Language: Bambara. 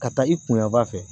Ka taa i kunyanfan fɛ